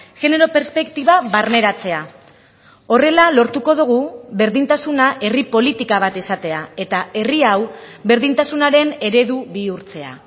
genero perspektiba barneratzea horrela lortuko dugu berdintasuna herri politika bat izatea eta herri hau berdintasunaren eredu bihurtzea